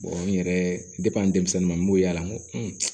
n yɛrɛ denmisɛnninw n b'o y'ala n ko